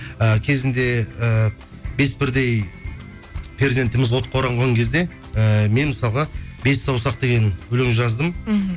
і кезінде ііі бес бірдей перзентіміз отқа оранған кезде ііі мен мысалға бес саусақ деген өлең жаздым мхм